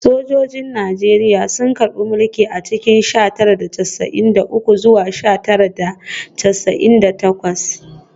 Sojojin Najeriya sun karbe mulki a cikin sha tara da casa’in da uku zuwa sha tara da casa’in da takwas